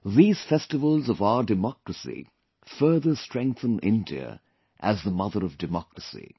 These festivals of our democracy further strengthen India as the Mother of Democracy